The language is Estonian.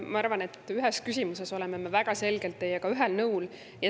Ma arvan, et ühes küsimuses oleme me väga selgelt teiega ühel nõul.